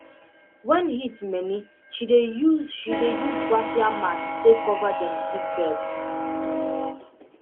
when heat many she dey use she dey use raffia mats take cover dem seedbeds